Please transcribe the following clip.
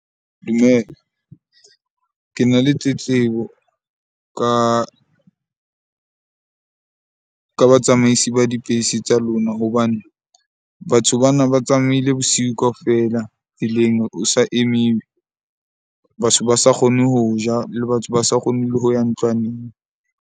Dumela, ke na le tletlebo ka batsamaisi ba dibese tsa lona. Hobane batho bana ba tsamaile bosiu kaofela tseleng, ho sa emiwe. Batho ba sa kgone ho ja le batho, ba sa kgone le ho ya ntlwaneng.